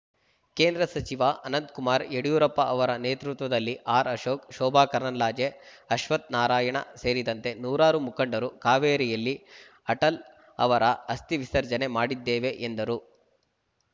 ಕೇಂದ್ರ ಸಚಿವ ಅನಂತ್‌ ಕುಮಾರ್‌ ಯಡಿಯೂರಪ್ಪ ಅವರ ನೇತೃತ್ವದಲ್ಲಿ ಆರ್‌ಅಶೋಕ್‌ ಶೋಭಾ ಕರಂದ್ಲಾಜೆ ಅಶ್ವಥ್‌ ನಾರಾಯಣ ಸೇರಿದಂತೆ ನೂರಾರು ಮುಖಂಡರು ಕಾವೇರಿಯಲ್ಲಿ ಅಟಲ ಅವರ ಅಸ್ಥಿ ವಿಸರ್ಜನೆ ಮಾಡಿದ್ದೇವೆ ಎಂದರು